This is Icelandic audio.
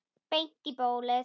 Beint í bólið.